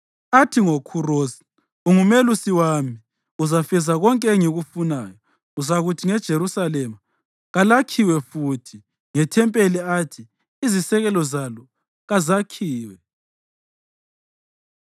athi ngoKhurosi, ‘Ungumelusi wami, uzafeza konke engikufunayo; uzakuthi ngeJerusalema, “Kalakhiwe futhi,” ngethempeli athi, “Izisekelo zalo kazakhiwe.” ’”